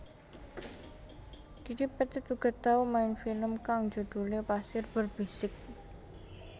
Didi Petet uga tau main film kang judhulé Pasir Berbisik